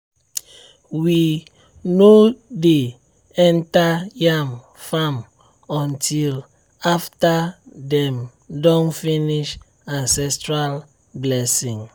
we no dey enter yam farm until after dem don finish ancestral blessing.